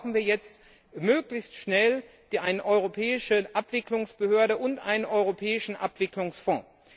Deshalb brauchen wir jetzt möglichst schnell eine europäische Abwicklungsbehörde und einen europäischen Abwicklungsfonds.